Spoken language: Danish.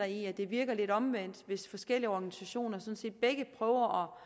i at det virker lidt omvendt hvis forskellige organisationer sådan set begge prøver